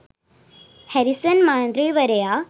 Harrison මන්ත්‍රීවරයා